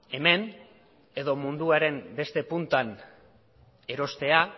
hemen edo munduaren beste puntan erostea